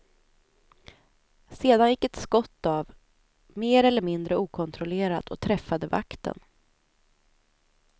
Sedan gick ett skott av mer eller mindre okontrollerat och träffade vakten.